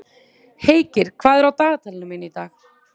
Heikir, hvað er í dagatalinu mínu í dag?